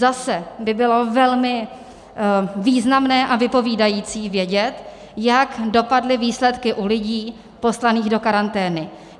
Zase by bylo velmi významné a vypovídající vědět, jak dopadly výsledky u lidí poslaných do karantény.